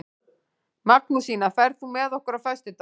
Magnúsína, ferð þú með okkur á föstudaginn?